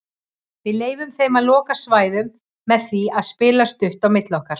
Við leyfðum þeim að loka svæðum með því að spila stutt á milli okkar.